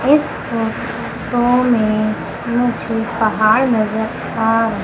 इस फोटो में मुझे पहाड़ नज़र आ र--